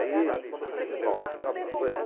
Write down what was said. Aí, prova, sabe de uma coisa?